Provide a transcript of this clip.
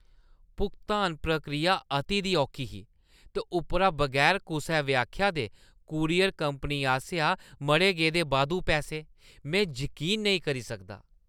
भुगतान प्रक्रिया अति दी औखी ही, ते उप्परा बगैर कुसै व्याख्या दे कूरियर कंपनी आसेआ मढ़े गेदे बाद्धू पैसे, में जकीन नेईं करी सकदा।